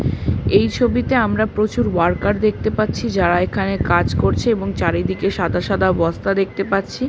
এই ছবিতে আমরা প্রচুর ওয়ার্কার দেখতে পাচ্ছি। যারা এখানে কাজ করছে এবং চারিদিকে সাদা সাদা বস্তা দেখতে পাচ্ছি।